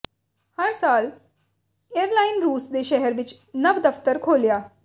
ਹਰ ਸਾਲ ਏਅਰਲਾਈਨ ਰੂਸ ਦੇ ਸ਼ਹਿਰ ਵਿੱਚ ਨਵ ਦਫ਼ਤਰ ਖੋਲ੍ਹਿਆ